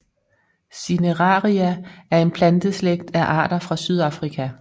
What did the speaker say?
Cineraria er en planteslægt af arter fra Sydafrika